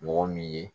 Mɔgɔ min ye